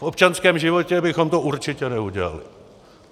V občanském životě bychom to určitě neudělali.